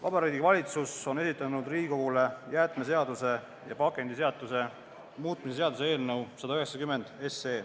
Vabariigi Valitsus on esitanud Riigikogule jäätmeseaduse ja pakendiseaduse muutmise seaduse eelnõu.